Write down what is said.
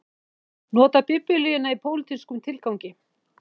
Notar biblíuna í pólitískum tilgangi